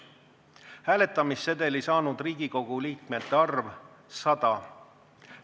Hääletamissedeli saanud Riigikogu liikmete arv – 100.